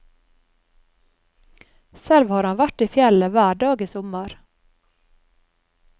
Selv har han vært i fjellet hver dag i sommer.